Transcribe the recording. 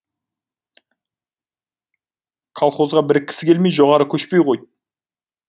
колхозға біріккісі келмей жоғары көшпей қойды